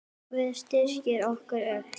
Guð styrki ykkur öll.